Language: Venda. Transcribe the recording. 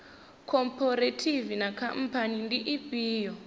khophorethivi na khamphani ndi ifhio